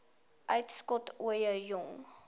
uitskot ooie jong